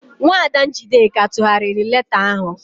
Nwaada Njideka tụgharịrị leeta ahụ.